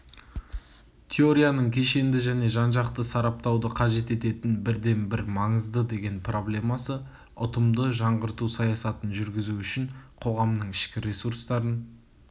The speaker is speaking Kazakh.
теорияның кешенді және жанжақты сараптауды қажет ететін бірден-бір маңызды деген проблемасы ұтымды жаңғырту саясатын жүргізу үшін қоғамның ішкі ресурстарын